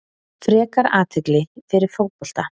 Frekar athygli fyrir fótbolta